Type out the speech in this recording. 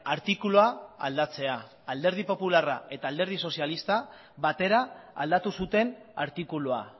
artikulua aldatzea alderdi popularra eta alderdi sozialista batera aldatu zuten artikulua